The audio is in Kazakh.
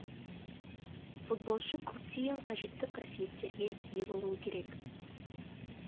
футболшы көптеген қажетті қасиеттерге ие болуы керек